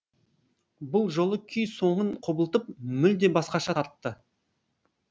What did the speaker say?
бұл жолы күй соңын құбылтып мүлде басқаша тартты